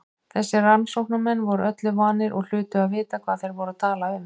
Þessir rannsóknarmenn voru öllu vanir og hlutu að vita hvað þeir voru að tala um.